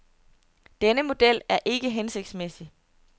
Denne model er ikke hensigtsmæssig.